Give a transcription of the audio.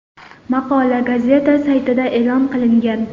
Maqola gazeta saytida e’lon qilingan.